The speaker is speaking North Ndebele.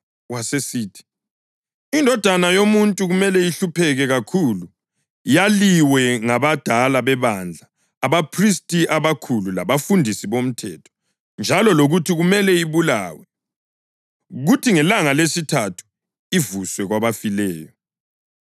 Wasesithi, “iNdodana yoMuntu kumele ihlupheke kakhulu, yaliwe ngabadala bebandla, abaphristi abakhulu labafundisi bomthetho, njalo lokuthi kumele ibulawe, kuthi ngelanga lesithathu ivuswe kwabafileyo.”